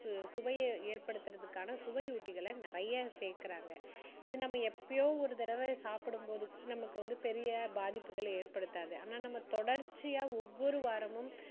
சு~சுவையை எற்படுத்துறதுக்கான சுவையூட்டிகளை நிறைய சேர்க்குறாங்க இது நம்ம எப்பயோ ஒரு தடவ சாப்பிடும் போது நமக்கு வந்து பெரிய பாதிப்புகள் எற்படுத்தாது ஆனா நம்ம தொடர்ச்சியா ஒவ்வொரு வாரமும்